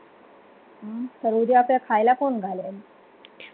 सर्वोदया आपल्याला खायला कोण घालेल